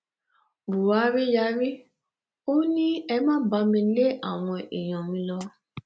buhari yarí ó ní ẹ má bá mi lé àwọn èèyàn mi lọ